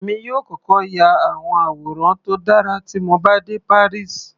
Èmi yóò kọ́kọ́ ya àwọn àwòrán tó dára tí mo bá dé Paris.